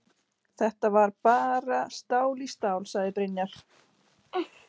Þetta var bara stál í stál, sagði Brynjar.